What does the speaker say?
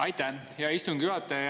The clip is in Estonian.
Aitäh, hea istungi juhataja!